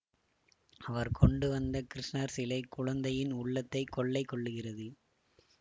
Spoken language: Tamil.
அவர் கொண்டுவந்த கிருஷ்ணர் சிலை குழந்தையின் உள்ளத்தை கொள்ளை கொள்ளுகிறது